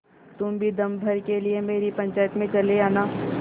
तुम भी दम भर के लिए मेरी पंचायत में चले आना